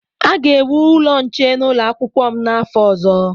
A ga-ewu ụlọ nche n'ụlọ akwụkwọ m n'afọ ọzọ.